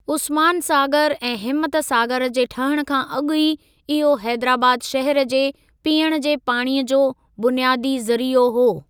उस्मान सागर ऐं हिम्मत सागर जे ठहण खां अॻु ई इहो हेदराबाद शहर जे पीअण जे पाणीअ जो बुनियादी ज़रीओ हो।